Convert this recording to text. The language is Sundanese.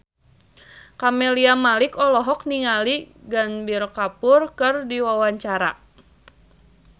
Camelia Malik olohok ningali Ranbir Kapoor keur diwawancara